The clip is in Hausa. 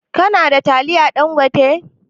Ka na da taliyan Ɗangote?